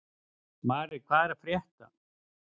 Mari, hvað er að frétta?